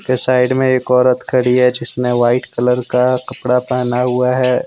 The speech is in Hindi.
साइड में एक औरत खड़ी है। जिसने वाइट कलर का कपड़ा पहना हुआ है।